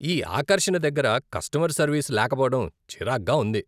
ఈ ఆకర్షణ దగ్గర కస్టమర్ సర్వీస్ లేకపోవడం చిరాక్గా ఉంది.